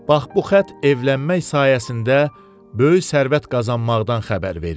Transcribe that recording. Bax bu xətt evlənmək sayəsində böyük sərvət qazanmaqdan xəbər verir.